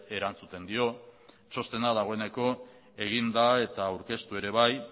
erantzuten dio txostena dagoeneko egin da eta aurkeztu ere bai